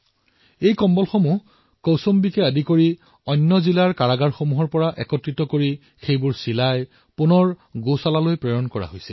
এই কম্বলবোৰ কৌশম্বীসহিতে অন্য জিলাৰ কাৰাগাৰৰ পৰা একত্ৰিত কৰা হৈছে আৰু গোশালাসমূহলৈ প্ৰেৰণ কৰা হৈছে